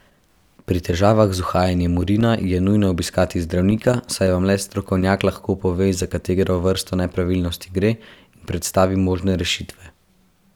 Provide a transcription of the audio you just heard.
Pri težavah z uhajanjem urina je nujno obiskati zdravnika, saj vam le strokovnjak lahko pove, za katero vrsto nepravilnosti gre, in predstavi možne rešitve.